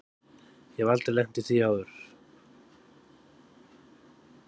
Ég hef aldrei lent í því áður.